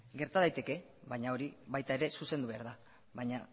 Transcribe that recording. gerta daiteke baina hori baita ere zuzendu behar da baina